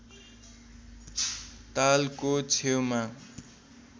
तालको छेउमा